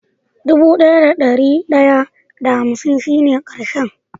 Dubu daya da dari daya da hansin shi ne karshen.